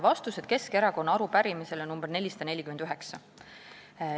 Vastan Keskerakonna arupärimisele nr 449.